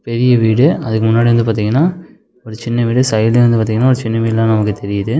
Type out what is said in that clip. பெரிய வீடு அதுக்கு முன்னாடி வந்து பாத்தீங்கன்னா ஒரு சின்ன வீடு சைடுல இருந்து பாத்தீங்கன்னா சின்ன வீடு எல்லாமே நமக்கு தெரியுது.